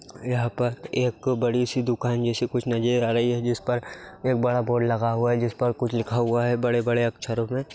यहाँ पर एक बड़ी सी दुकान जैसी कुछ नजर आ रही है जिस पर एक बड़ा बोर्ड लगा हुआ है जिस पर कुछ लिखा हुआ है बड़े-बड़े अक्षरों में।